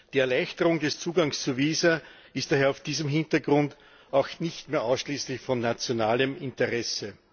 Die Erleichterung des Zugangs zu Visa ist daher vor diesem Hintergrund auch nicht mehr ausschließlich von nationalem Interesse.